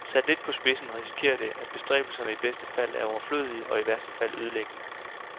Sat lidt på spidsen risikeres det, at bestræbelserne i bedste fald er overflødige og i værste fald ødelæggende.